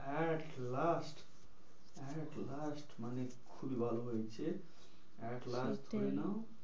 At last, at last মানে খুবই ভালো হয়েছে at last সেটাই ধরে নাও,